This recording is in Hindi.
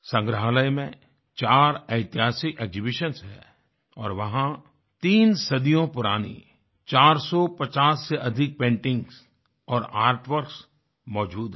संग्रहालय में 4 ऐतिहासिक एक्सिबिशंस हैं और वहाँ तीन सदियों पुरानी 450 से अधिक पेंटिंग्स और आर्ट वर्क्स मौजूद हैं